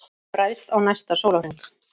Ræðst á næsta sólarhring